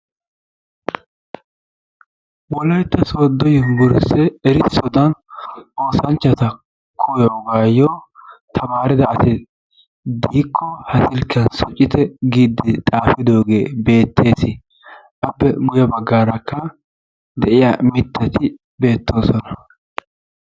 Wolaytta sooddo yubbursse erissodan oosanchchata koyoogan tamaaridaagee de'ikko ha silkkiyan shocite giiddi xaafidoogee beettees. Appe guyye baggaarakka de'iya mittati beettoosona.